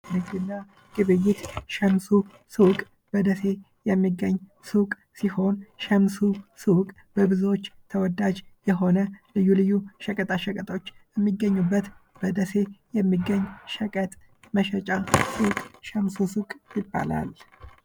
ንግድና ግብይት ሸምሱ ሱቅ በደሴ የሚገኝ ሱቅ ሲሆን ሸምሱ ሱቅ በብዞች ተወዳጅ የሆነ ልዩ ልዩ ሸቀጣ ሸቀጦች የሚገኙበት በደሴ የሚገኝ ሸቀጥ መሸጫ ሱቅ ሸምሱ ሱቅ ይባላል።